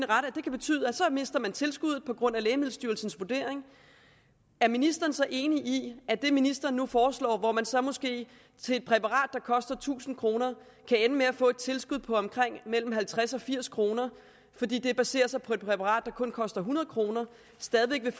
mister man tilskuddet på grund af lægemiddelstyrelsens vurdering er ministeren så enig i at det ministeren nu foreslår hvor man så måske til et præparat der koster tusind kr kan ende med at få et tilskud på mellem halvtreds og firs kr fordi det baserer sig på et præparat der kun koster hundrede kr stadig væk